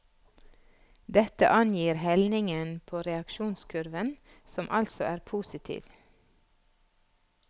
Dette angir helningen på reaksjonskurven, som altså er positiv.